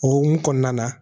O hokumu kɔnɔna na